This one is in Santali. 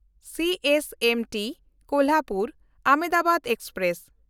CSMT ᱠᱳᱞᱦᱟᱯᱩᱨ–ᱟᱦᱚᱢᱫᱟᱵᱟᱫ express